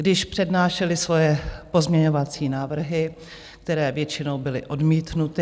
Když přednášeli svoje pozměňovací návrhy, které většinou byly odmítnuty.